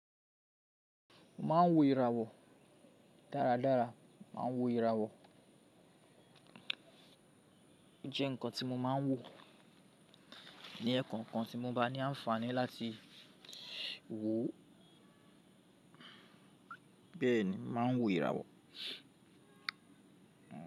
Mo máa ń wo ìràwọ̀ dáradára. Máa wo ìràwọ̀. O jẹ́ nǹkan tí mo máa ń wò. Nì ẹkokan tí mo bá ní àǹfààní láti wò. Bẹ́ẹ̀ ni, máa ń wo ìràwọ̀